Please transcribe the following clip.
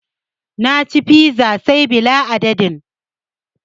Na ci fiza say bila adadin